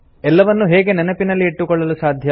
ಎಲ್ಲವನ್ನೂ ಹೇಗೆ ನೆನಪಲ್ಲಿ ಇಟ್ಟುಕೊಳ್ಳಲು ಸಾಧ್ಯ